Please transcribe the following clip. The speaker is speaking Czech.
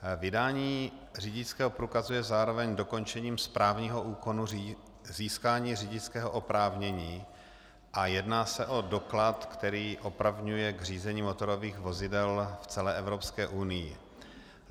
Vydání řidičského průkazu je zároveň dokončením správního úkonu získání řidičského oprávnění a jedná se o doklad, který opravňuje k řízení motorových vozidel v celé Evropské unii.